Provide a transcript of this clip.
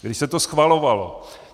Když se to schvalovalo.